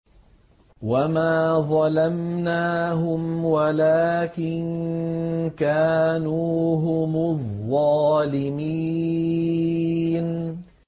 وَمَا ظَلَمْنَاهُمْ وَلَٰكِن كَانُوا هُمُ الظَّالِمِينَ